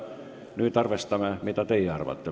Nüüd vaatame, mida teie arvate.